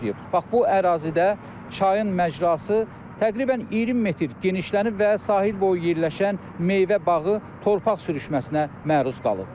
Bax bu ərazidə çayın macrası təqribən 20 metr genişlənib və sahil boyu yerləşən meyvə bağı torpaq sürüşməsinə məruz qalıb.